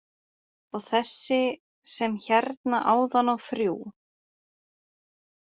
Og þessi sem hérna áðan á þrjú.